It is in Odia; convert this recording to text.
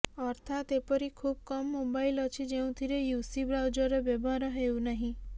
ଅର୍ଥାତ ଏପରି ଖୁବ୍ କମ୍ ମୋବାଇଲ ଅଛି ଯେଉଁଥିରେ ୟୁସି ବ୍ରାଉଜର ବ୍ୟବହାର ହେଉନାହିଁ